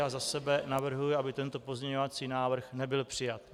Já za sebe navrhuji, aby tento pozměňovací návrh nebyl přijat.